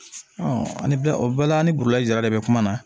ani bɛ o bɛɛ la an ni burula jara de bɛ kuma na